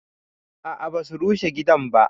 A'a ba su rushe gidan ba